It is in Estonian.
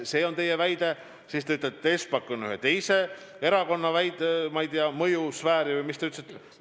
Veel te ütlete, et Espak on ühe teise erakonna, ma ei tea, mõjusfääris või kuidas te ütlesite.